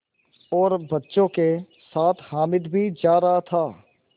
और बच्चों के साथ हामिद भी जा रहा था